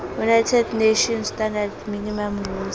united nations standard minimum rules